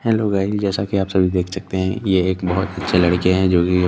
hello guys जैसा की आप सभी देख सकते है ये एक बोहत अच्छे लड़के जो की --